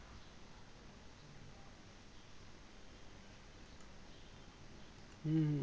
হুম হুম